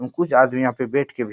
उ कुछ आदमी यहाँ पे बैठ के भी --